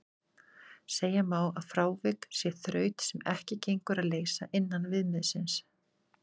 Segja má að frávik sé þraut sem ekki gengur að leysa innan viðmiðsins.